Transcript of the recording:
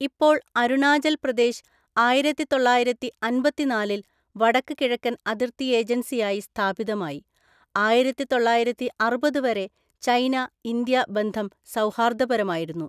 ഇപ്പോൾ അരുണാചൽ പ്രദേശ് ആയിരത്തിതൊള്ളായിരത്തി അന്‍പത്തിനാലില്‍ വടക്ക് കിഴക്കൻ അതിർത്തി ഏജൻസിയായി സ്ഥാപിതമായി, ആയിരത്തിതൊള്ളായിരത്തിഅറുപതു വരെ ചൈന ഇന്ത്യ ബന്ധം സൗഹാർദ്ദപരമായിരുന്നു.